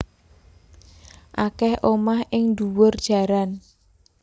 Akeh omah ing ndhuwur jaran